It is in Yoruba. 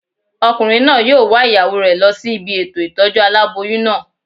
Ọkùnrin náà yóò wa ìyàwó rẹ̀ lọ sí ibi ètò ìtọ́jú aláboyún náà